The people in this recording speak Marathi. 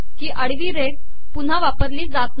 ही आडवी रेघ पुनहा वापरली जात नाही